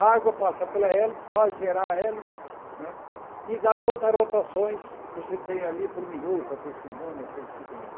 A água passa pela hélice, faz girar a hélice né e dá quantas rotações você tem ali por minuto, ou por segundo, ou coisa que vale.